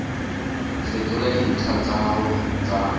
fetola dintlha tsa gago tsa